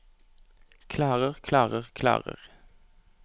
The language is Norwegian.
klarer klarer klarer